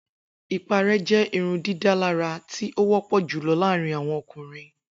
Ipare jẹ irundidalara ti o wọpọ julọ laarin awọn ọkunrin.